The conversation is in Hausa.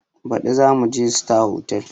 Baɗi zamuje sitar hotal